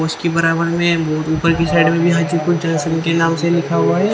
उसके बराबर मे बहोत ऊपर के साइड में लिखा हुआ है।